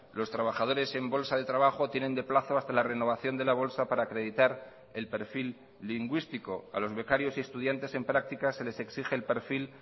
los trabajadores en bolsa de trabajo tienen de plazo hasta la renovación de la bolsa para acreditar el perfil lingüístico a los becarios y estudiantes en prácticas se les exige el perfil